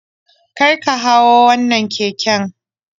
Karka hau wannan keken.